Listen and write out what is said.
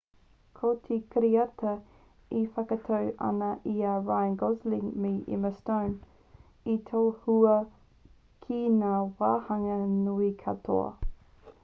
ko te kiriata e whakaatu ana i a ryan gosling me emma stone i tohua ki ngā wāhanga nui katoa